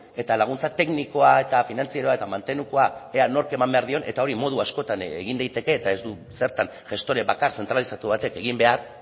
eta laguntza teknikoa eta finantzarioa eta mantenukoa ea nork eman behar dion eta hori modu askotan egin daiteke eta ez du zertan gestore bakar zentralizatu batek egin behar